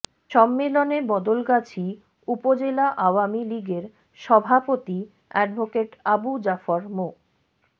সম্মেলনে বদলগাছী উপজেলা আওয়ামী লীগের সভাপতি অ্যাডভোকেট আবু জাফর মো